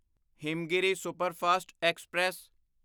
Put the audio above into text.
Himgiri superfast express